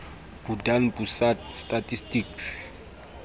badan pusat statistik